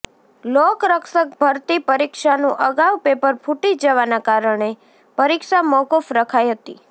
લોકરક્ષક ભરતી પરીક્ષાનું અગાઉ પેપર ફૂટી જવાના કારણે પરીક્ષા મોકૂફ રખાઇ હતી